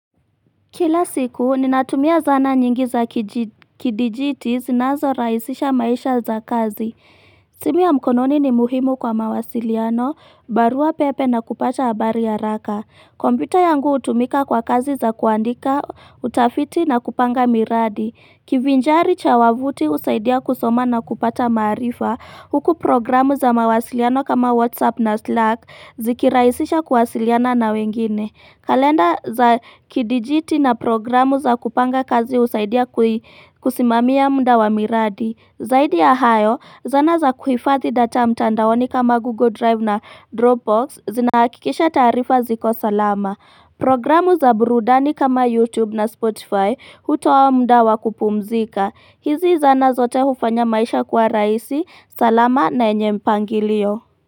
Kila siku, ninatumia zana nyingi za kidijiti zinazo raisisha maisha za kazi. Simu ya mkononi ni muhimu kwa mawasiliano, barua pepe na kupata habari haraka. Kompyuta yangu hutumika kwa kazi za kuandika, utafiti na kupanga miradi. Kivinjari cha wavuti usaidia kusoma na kupata marifa. Huku programu za mawasiliano kama WhatsApp na Slack zikiraisisha kuwasiliana na wengine. Kalenda za kidijiti na programu za kupanga kazi husaidia kusimamia mda wa miradi Zaidi ya hayo zana za kuhifadhi data mtandaoni kama google drive na dropbox zinahakikisha taarifa ziko salama Programu za burudani kama youtube na spotify hutowa mda wa kupumzika hizi zana zote hufanya maisha kwa raisi salama na enye mpangilio.